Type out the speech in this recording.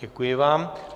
Děkuji vám.